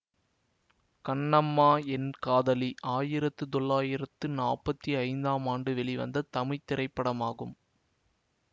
கண்ணம்மா என் காதலி ஆயிரத்து தொள்ளாயிரத்தி நாப்பத்தி ஐந்தாம் ஆண்டு வெளிவந்த தமிழ் திரைப்படமாகும்